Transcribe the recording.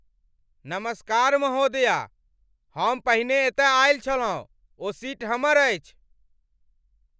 नमस्कार महोदया, हम पहिने एतय आयल छलहुँ। ओ सीट हमर अछि।